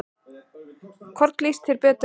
Hvorn líst þér betur á?